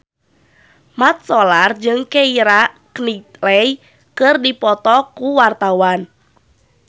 Mat Solar jeung Keira Knightley keur dipoto ku wartawan